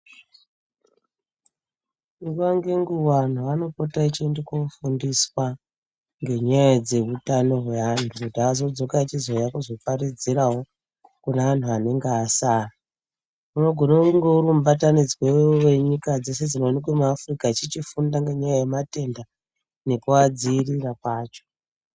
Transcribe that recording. Nguwa ngenguwa anhu anopota echiende kofundiswa, ngenyaya dzeutano hweanhu kuti azodzoka achizouya achizoparidzirawo kune anhu anenga asara. Unogone kunga uri mubatanidzwe wenyika dzeshe dzinoonekwe muAfrica echichichifunda ngenyaya yematenda, nekuadziirira kwacho.